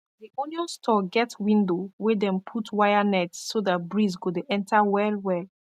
d onion store get window wey dem put wire net so that breeze go de enter well well